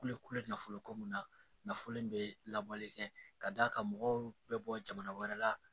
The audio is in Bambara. Kule kulo nafolo ko min na nafolo in bɛ labɔli kɛ ka d'a kan mɔgɔw bɛ bɔ jamana wɛrɛ la